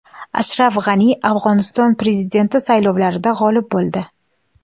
Ashraf G‘ani Afg‘oniston prezidenti saylovlarida g‘olib bo‘ldi.